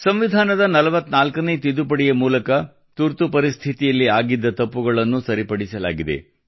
ಸಂವಿಧಾನದ 44ನೇ ತಿದ್ದುಪಡಿಯ ಮೂಲಕ ತುರ್ತುಪರಿಸ್ಥಿತಿಯಲ್ಲಿ ಆಗಿದ್ದ ತಪ್ಪುಗಳನ್ನು ಸರಿಪಡಿಸಲಾಗಿದೆ